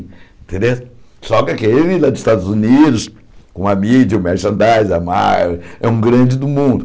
Quere só que aquele lá dos Estados Unidos, com a mídia, o merchandising, a Mar, é um grande do mundo.